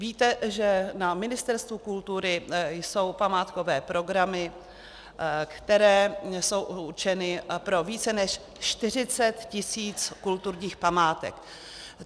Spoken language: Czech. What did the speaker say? Víte, že na Ministerstvu kultury jsou památkové programy, které jsou určeny pro více než 40 tisíc kulturních památek.